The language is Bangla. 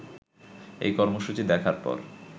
এই কর্মসূচি দেখার পর